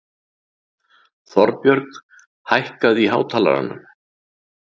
Þorbjörg, hækkaðu í hátalaranum.